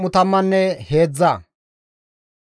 GODAY Muse hizgides,